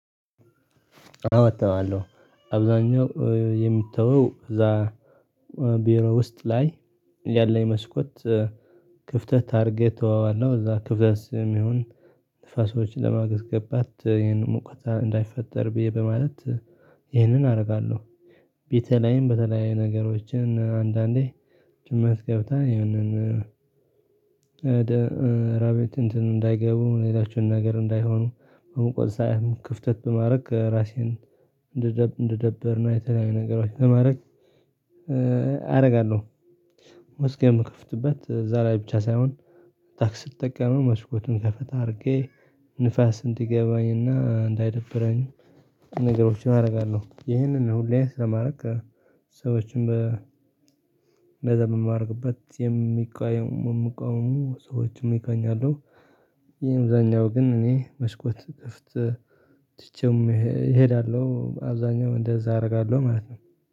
አወጣዋለሁ። አብዛኛው የሚተው እዛ ቢሮ ውስጥ ላይ ያለኝ መስኮት ክፍተት አድርጌ ተወዋለሁ እዛ ክፍተት የሚሆን ንፋሶችን ለማግስ ገባት ይህንን ሙቀት እንዳይፈጠር ብዬ በማለት ይህንን አደርጋለሁ። ቤቴ ላይም በተለያዩ ነገሮችን አንዳንዴ ጭምረት ገብታ ይህንን ራቤት እንትን እንዳይገቡ ሌላችሁን ነገር እንዳይሆኑ በመቆጣጠር ሳይሆን ክፍተት በማድረግ ራሴን እንደደበርና የተለያዩ ነገሮች በማድረግ አደርጋለሁ። መዝያም ምከፍትበት ዛሬ ብቻ ሳይሆን ታክስ ስጠቀመው መስኮቱን ከፈታ አድርጌ ንፋስ እንዲገባኝና እንዳይደብረኝ ነገሮችን አደርጋለሁ ይህንን ሁሌም ስለማድረግ። ሰዎችን እንደዛ የምማርበት የሚቃየሙ ሰዎችን እገኛለሁ። የእምዛኛው ግን እኔ መስኮት ክፍት ትቼም እሄዳለሁ አብዛኛው እንደዛ አደርጋለሁ ማለት ነው።